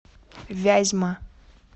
вязьма